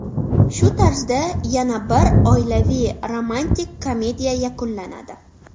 Shu tarzda yana bir oilaviy romantik komediya yakunlanadi.